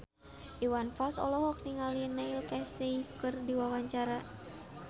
Iwan Fals olohok ningali Neil Casey keur diwawancara